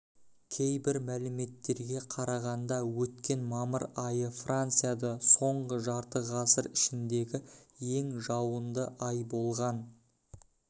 кейбір мәліметтерге қарағанда өткен мамыр айы францияда соңғы жарты ғасыр ішіндегі ең жауынды ай болған